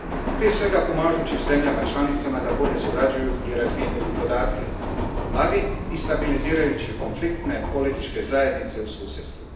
Prije svega pomažući zemljama članicama da bolje surađuju i razmjenjuju podatke, ali i stabilizirajući konfliktne političke zajednice u susjedstvu.